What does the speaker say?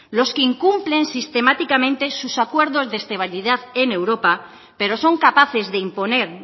los que incumplen sistemáticamente sus acuerdos de estabilidad en europa pero son capaces de imponer